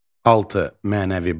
6. Mənəvi borc.